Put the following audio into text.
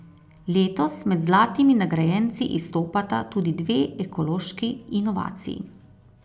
Letos med zlatimi nagrajenci izstopata tudi dve ekološki inovaciji.